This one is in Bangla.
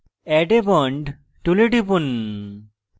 add a bond tool টিপুন